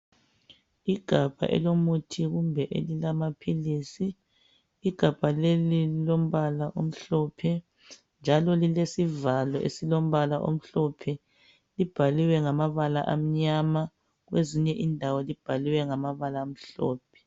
Igabha elilomuthi kumbe amaphilizi. Igabha leli lilombala omhlophe njalo lilesivalo esilombala omhlophe. Libhaliwe ngamabala amnyama kwezinye indawo libhaliwe ngamabala amhlophe.